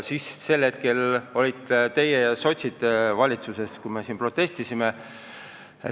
Siis olite teie ja sotsid valitsuses, meie siin protestisime.